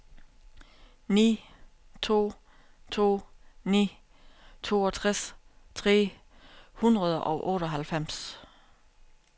ni to to ni toogtres tre hundrede og otteoghalvfems